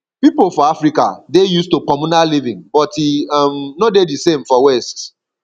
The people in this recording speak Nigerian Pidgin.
pipo for africa dey used to communal living but e um no dey di same for west